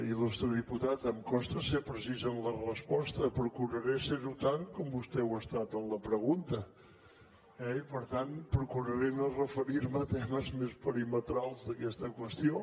il·putat em costa ser precís en la resposta procuraré ser ho tant com vostè ho ha estat en la pregunta eh i per tant procuraré no referir me a temes més perimetrals d’aquesta qüestió